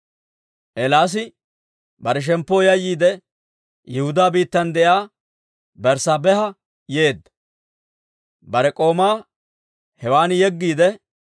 Eelaasi bare shemppoo yayyiide, Yihudaa biittan de'iyaa Berssaabeha yeedda. Bare k'oomaa hewan yeggiide,